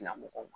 Ɲɛmɔgɔw ma